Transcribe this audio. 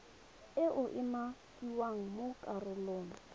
e e umakiwang mo karolong